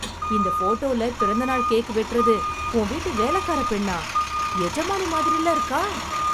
இந்த ஃபோட்டோல பிறந்த நாள் கேக் வெட்டறது உன் வீட்டு வேலைக்காரப் பெண்ணா... எஜமானி மாதிரில்ல இருக்கா...